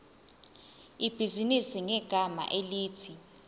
ibhizinisi ngegama elithi